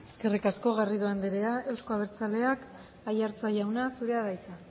eskerrik asko eskerrik asko garrido anderea euzko abertzaleak aiartza jauna zurea da hitza